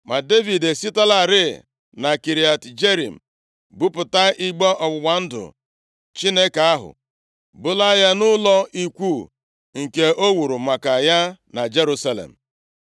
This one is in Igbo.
Ma Devid esitelarị na Kiriat Jearim buputa igbe ọgbụgba ndụ Chineke ahụ, bulaa ya nʼụlọ ikwu nke o wuru maka ya na Jerusalem.